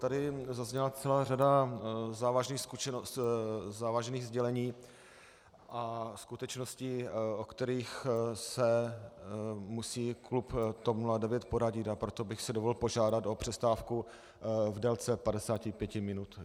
Tady zazněla celá řada závažných sdělení a skutečností, o kterých se musí klub TOP 09 poradit, a proto bych si dovolil požádat o přestávku v délce 55 minut.